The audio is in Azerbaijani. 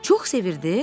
Çox sevirdi?